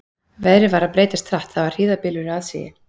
Veðrið var að breytast hratt, það var hríðarbylur í aðsigi.